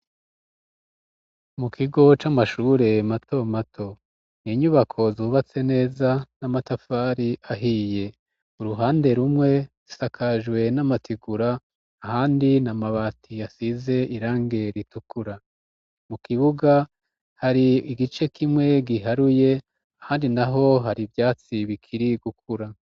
Mu kigo c'amashure mato mato n'inyubako zubatse neza n'amatafari ahiye uruhande rumwe zisakajwe n'amategura ahandi n'amabati asize irangi ritukura mu kibuga hari igice kimwe giharuye ahandi naho har'ivyatsi biri gukura